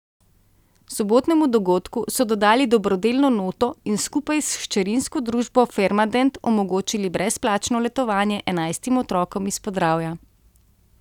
Sobotnemu dogodku so dodali dobrodelno noto in skupaj s hčerinsko družbo Farmadent omogočili brezplačno letovanje enajstim otrokom iz Podravja.